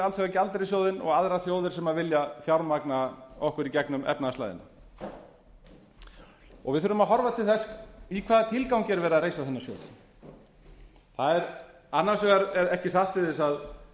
alþjóðagjaldeyrissjóðinn og aðrar þjóðir sem vilja fjármagna okkur í gegnum efnahagslægðina við þurfum að horfa til þess í hvaða tilgangi er verið að reisa þennan sjóð það er annars vegar ekki sátt til þess að